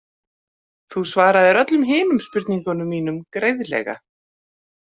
Þú svaraðir öllum hinum spurningum mínum greiðlega.